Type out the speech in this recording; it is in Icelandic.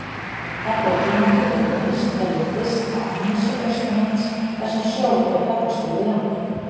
Þetta tímabil er lengst hérlendis á annesjum austanlands, þar sem sjór er kaldastur við landið.